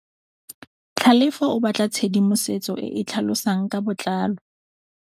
Tlhalefô o batla tshedimosetsô e e tlhalosang ka botlalô.